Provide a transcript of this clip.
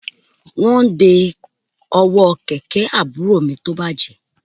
Wọ́n ń de ọwọ́ kẹ̀kẹ́ àbúrò mi tó bàjẹ́